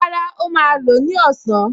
Rárá, ó máa lò ó ní ọ̀sán